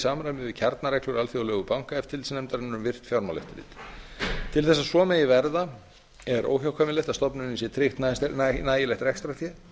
í samræmi við kjarnareglur alþjóðlegu bankaeftirlitsnefndarinnar um virkt fjármálaeftirlit til að svo megi verða er óhjákvæmilegt að stofnuninni sé tryggt nægilegt rekstrarfé